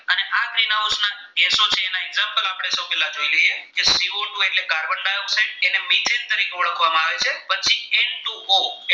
તો પેલા જોઈએ લઈએ કે સીઓટુ એટલે કાર્બનડાયોક્સાઇડ કે જે મિશેલ તરીકે ઓળખવામાં આવે છે પછી એન ટુ ઓ